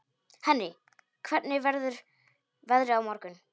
Henrý, hvernig verður veðrið á morgun?